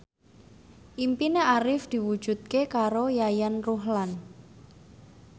impine Arif diwujudke karo Yayan Ruhlan